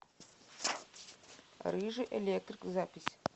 рыжий электрик запись